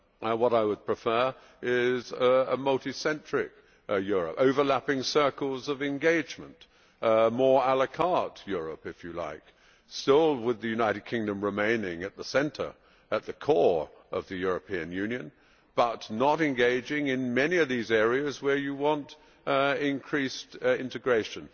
What I would prefer is a multi centric Europe with overlapping circles of engagement, a more Europe if you like, still with the United Kingdom remaining at the centre at the core of the European Union, but not engaging in many of these areas where you want increased integration.